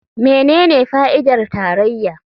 Menene fa'idar tarayya?